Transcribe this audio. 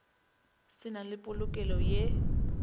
se na le polokelo ye